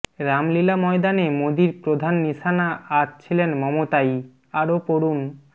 রামলীলা ময়দানে মোদীর প্রধান নিশানা আজ ছিলেন মমতাই আরও পড়ুন